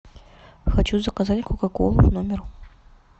хочу заказать кока колу в номер